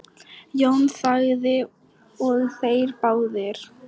Jón þagði og þeir báðir.